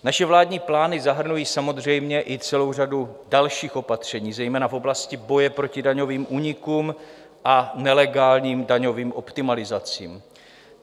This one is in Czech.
Naše vládní plány zahrnují samozřejmě i celou řadu dalších opatření, zejména v oblasti boje proti daňovým únikům a nelegálním daňovým optimalizacím.